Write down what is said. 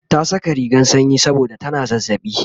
ta Saka rigan sanyi saboda tana zazzaɓi